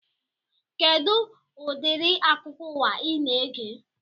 Kedụ udiri akụkọ ụwa ị na-ege